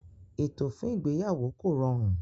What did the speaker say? Ètò fún ìgbéyàwó kò rọrùn.